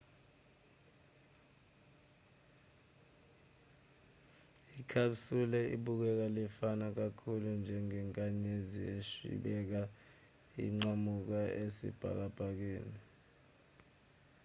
i-capsule ibukeka lifana kakhulu njengenkanyezi eshwibeka inqamula esibhakabhakeni